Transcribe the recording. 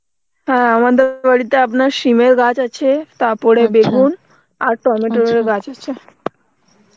হ্যাঁ আমাদের বাড়িতে আপনার সিমের গাছ আছে তারপরে বেগুন আর গাছ আছে